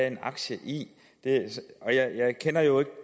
en aktie i jeg kender jo ikke